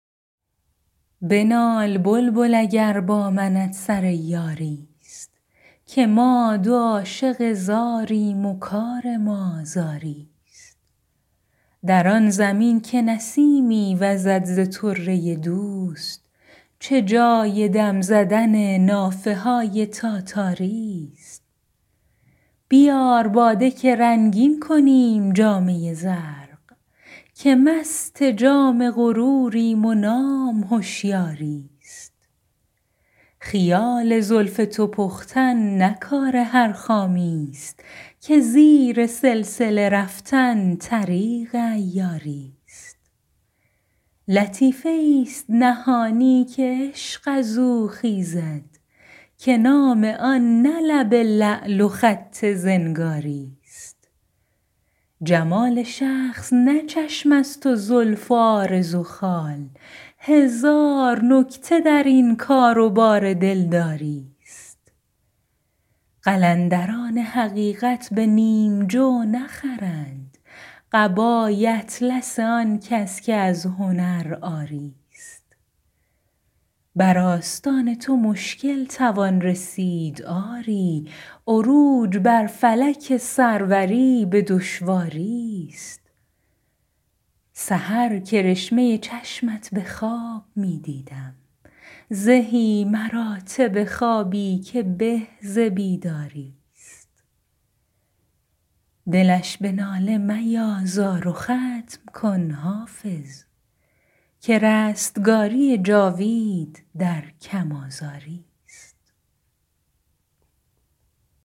بنال بلبل اگر با منت سر یاری ست که ما دو عاشق زاریم و کار ما زاری ست در آن زمین که نسیمی وزد ز طره دوست چه جای دم زدن نافه های تاتاری ست بیار باده که رنگین کنیم جامه زرق که مست جام غروریم و نام هشیاری ست خیال زلف تو پختن نه کار هر خامی ست که زیر سلسله رفتن طریق عیاری ست لطیفه ای ست نهانی که عشق از او خیزد که نام آن نه لب لعل و خط زنگاری ست جمال شخص نه چشم است و زلف و عارض و خال هزار نکته در این کار و بار دلداری ست قلندران حقیقت به نیم جو نخرند قبای اطلس آن کس که از هنر عاری ست بر آستان تو مشکل توان رسید آری عروج بر فلک سروری به دشواری ست سحر کرشمه چشمت به خواب می دیدم زهی مراتب خوابی که به ز بیداری ست دلش به ناله میازار و ختم کن حافظ که رستگاری جاوید در کم آزاری ست